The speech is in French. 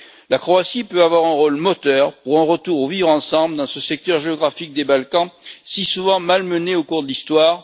La Croatie peut avoir un rôle moteur pour un retour au vivre ensemble dans ce secteur géographique des Balkans si souvent malmené au cours de l'histoire.